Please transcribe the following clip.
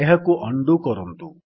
ଏହାକୁ ଉଣ୍ଡୋ କରନ୍ତୁ